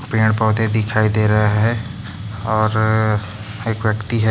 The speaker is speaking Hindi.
पेड़ पौधे दिखाई दे रहे है और एक व्यक्ती है।